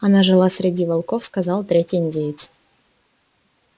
она жила среди волков сказал третий индеец